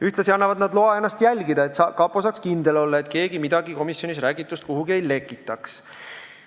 Ühtlasi annavad nad loa ennast jälgida, et kapo saaks kindel olla, et keegi komisjonis räägitust midagi kuhugi ei lekitaks.